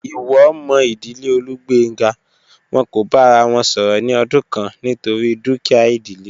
Iwo mo idile Olugbenga, won ko ba ara won soro ni odun kan nitori dukia idile.